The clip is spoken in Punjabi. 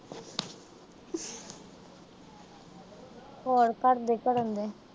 ਹੋਰ ਘਰ ਦੇ ਕੀ ਕਰਨਡੇ।